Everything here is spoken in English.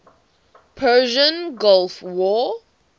persian gulf war